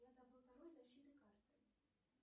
я забыл пароль защиты карты